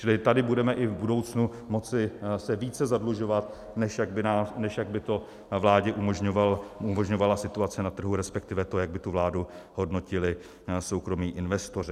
Čili tady budeme i v budoucnu moci se více zadlužovat, než jak by to vládě umožňovala situace na trhu, respektive to, jak by tu vládu hodnotili soukromí investoři.